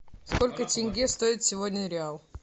сколько тенге стоит сегодня реал